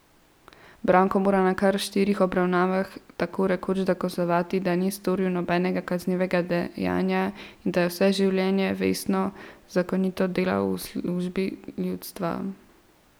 Branko mora na kar štirih obravnavah tako rekoč dokazovati, da ni storil nobenega kaznivega dejanja in da je vse življenje vestno in zakonito delal v službi ljudstva.